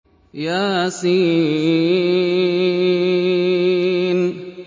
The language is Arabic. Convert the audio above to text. يس